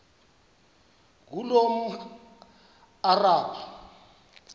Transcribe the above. ngulomarabu